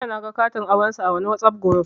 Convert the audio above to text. Jiya naga katin aurensu a wani Whatsapp guruf